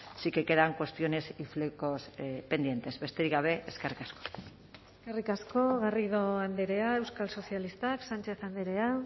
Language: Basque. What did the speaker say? sí que quedan cuestiones y flecos pendientes besterik gabe eskerrik asko eskerrik asko garrido andrea euskal sozialistak sánchez andrea